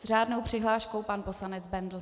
S řádnou přihláškou pan poslanec Bendl.